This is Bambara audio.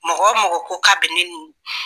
Mɔgɔ mɔgɔ ko k'a bɛ ne ni